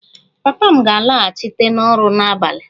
Papa m ga-alaghachite n'ọrụ n'abalị